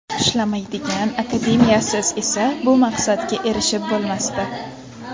Ishlamaydigan akademiyasiz esa bu maqsadga erishib bo‘lmasdi.